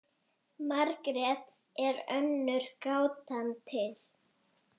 Margrét er önnur gátan til.